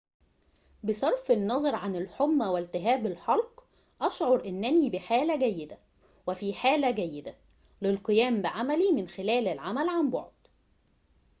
بصرف النظر عن الحمى والتهاب الحلق أشعر أنني بحالة جيدة وفي حالة جيدة للقيام بعملي من خلال العمل عن بعد